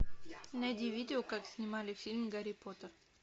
найди видео как снимали фильм гарри поттер